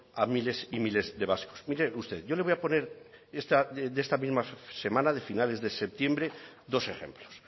a miles y miles de vascos mire usted yo le voy a poner de esta misma semana de finales de septiembre dos ejemplos